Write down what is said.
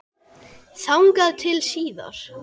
Þangað til síðar.